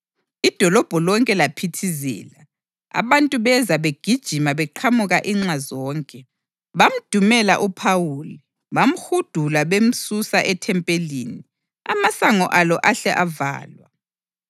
Idolobho lonke laphithizela, abantu beza begijima beqhamuka inxa zonke. Bamdumela uPhawuli bamhudula bemsusa ethempelini, amasango alo ahle avalwa.